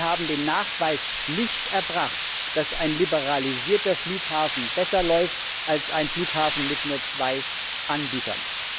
Sie haben den Nachweis nicht erbracht, dass ein liberalisierter Flughafen besser läuft als ein Flughafen mit nur zwei Anbietern.